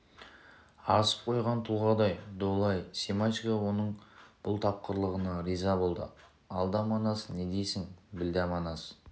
асып қойған тұлғадай долы-ай семашко оның бұл тапқырлығына риза болды алда манас не дейсің білда манас